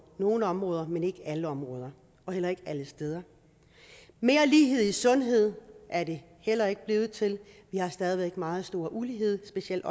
nogle områder men ikke på alle områder og heller ikke alle steder mere lighed i sundhed er det heller ikke blevet til vi har stadig væk meget stor ulighed specielt